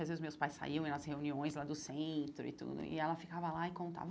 Às vezes, meus pais saíam nas reuniões lá do centro e tudo, e ela ficava lá e contava.